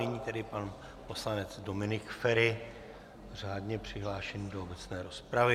Nyní tedy pan poslanec Dominik Feri, řádně přihlášený do obecné rozpravy.